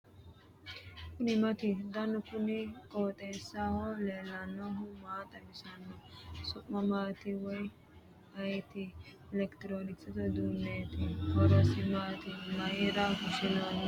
kuni maati ? danu kuni qooxeessaho leellannohu maa xawisanno su'mu maati woy ayeti ? elekitiroonkisete uduunneeti . horosi maati mayra fushshinoonniho ?